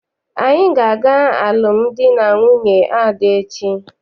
Anyị ga- aga alụmdi na nwunye Ada echi.